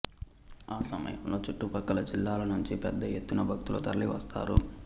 ఆ సమయంలో చుట్టుపక్కల జిల్లాల నుంచి పెద్ద ఎత్తున భక్తులు తరలి వస్తారు